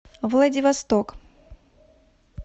владивосток